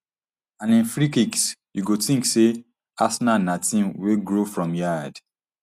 and im free kicks you go tink say arsenal na team wey grow from yard